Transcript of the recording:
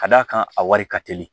Ka d'a kan a wari ka teli